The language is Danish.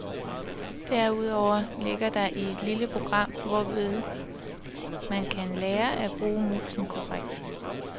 Derudover ligger der et lille program, hvormed man kan lære at bruge musen korrekt.